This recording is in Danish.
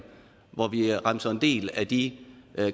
hvor vi remser en del af de